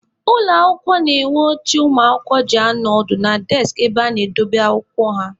Ụlọ akwụkwọ na-enwe oche ụmụakwụkwọ ji anọ ọdụ na deskị ebe ha na-edobe akwụkwọ ha.